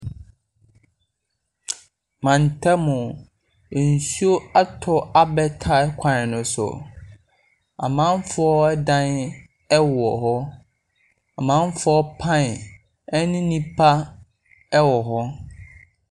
Mantam mu, nsuo atɔ abɛ tai kwan ne so. Amanfoɔ ɛdan ɛwɔ hɔ. Amanfoɔ paen ɛne nnipa ɛwɔ hɔ.